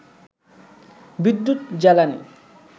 বিদ্যুৎ, জ্বালানি